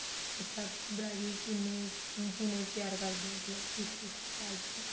ਅੱਛਾ ਤੁਸੀਂ bridle ਕਿੰਨੇ ਕਿਵੇਂ ਤਿਆਰ ਕਰਦੇ ਓ ਮਤਲਬ ਕਿਸ ਕਿਸ type ਚ